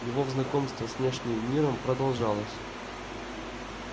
его знакомство с внешним миром продолжалось